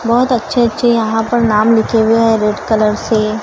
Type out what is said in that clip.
बहुत अच्छे अच्छे यहां पर नाम लिखे हुए हैं रेड कलर से--